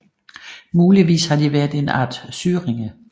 Muligvis har de været en art syringe